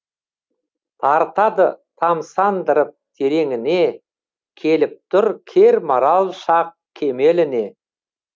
тартады тамсандырып тереңіне келіп тұр кермарал шақ кемеліне